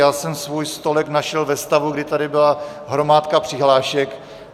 Já jsem svůj stolek našel ve stavu, kdy tady byla hromádka přihlášek.